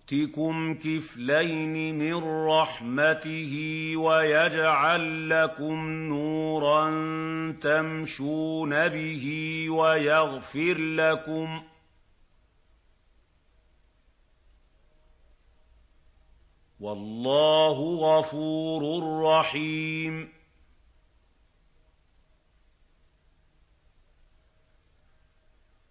يُؤْتِكُمْ كِفْلَيْنِ مِن رَّحْمَتِهِ وَيَجْعَل لَّكُمْ نُورًا تَمْشُونَ بِهِ وَيَغْفِرْ لَكُمْ ۚ وَاللَّهُ غَفُورٌ رَّحِيمٌ